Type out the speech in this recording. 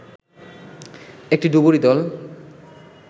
একটি ডুবুরী দল